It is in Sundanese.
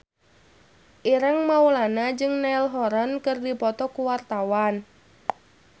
Ireng Maulana jeung Niall Horran keur dipoto ku wartawan